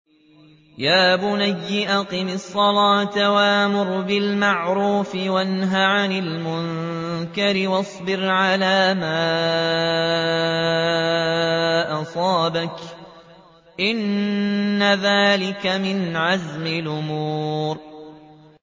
يَا بُنَيَّ أَقِمِ الصَّلَاةَ وَأْمُرْ بِالْمَعْرُوفِ وَانْهَ عَنِ الْمُنكَرِ وَاصْبِرْ عَلَىٰ مَا أَصَابَكَ ۖ إِنَّ ذَٰلِكَ مِنْ عَزْمِ الْأُمُورِ